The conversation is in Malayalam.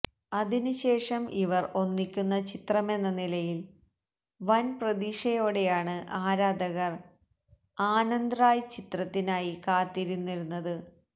അതിന് ശേഷം ഇവർ ഒന്നിക്കുന്ന ചിത്രമെന്ന നിലയിൽ വൻ പ്രതീക്ഷയോടെയാണ് ആരാധകർ ആനന്ദ് റായ് ചിത്രത്തിനായി കാത്തിരുന്നിരുന്നത്